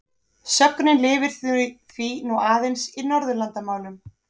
Sögnin lifir því nú aðeins í Norðurlandamálum.